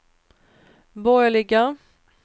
borgerliga